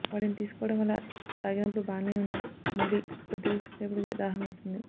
వాటిని తీసుకోవడం వల్ల తాగినపుడు బాగానే ఉన్నా మళ్లీ కొద్ది సేపటికే దాహం వేస్తుంది